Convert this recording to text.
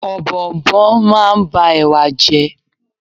Ọ̀bọ̀ọ̀nbọọ̀n máa ń ba Ẹ̀wà jẹ́.